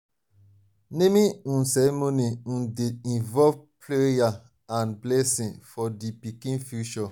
naming um ceremony um dey involve prayer and blessing for di pikin future.